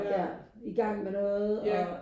Ja ja